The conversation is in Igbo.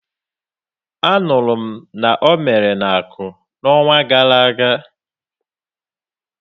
A nụrụ m na o mere n'Aku, n'onwa gara aga.